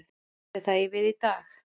Ætli það eigi við í dag?